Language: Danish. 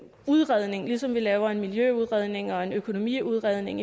udredning ligesom vi laver en miljøudredning og en økonomiudredning